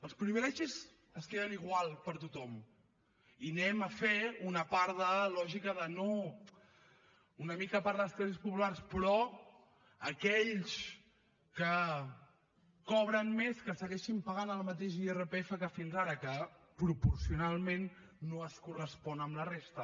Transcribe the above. els privilegis es queden igual per a tothom i anem a fer una part de lògica de no una mica per a les classes populars però aquells que cobren més que segueixin pagant el mateix irpf que fins ara que proporcionalment no es correspon amb la resta